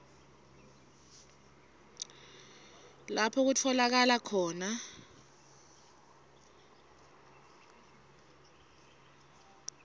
lapho kutfolakala khona